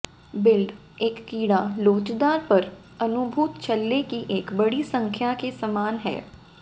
build एक कीड़ा लोचदार पर अनुभूत छल्ले की एक बड़ी संख्या के समान है